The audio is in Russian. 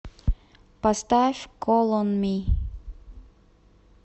поставь кол он ми